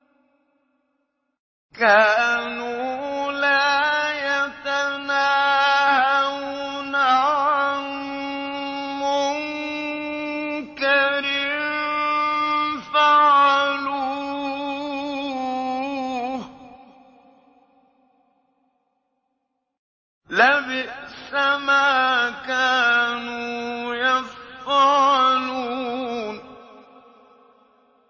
كَانُوا لَا يَتَنَاهَوْنَ عَن مُّنكَرٍ فَعَلُوهُ ۚ لَبِئْسَ مَا كَانُوا يَفْعَلُونَ